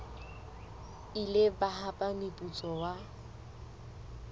ile ba hapa moputso wa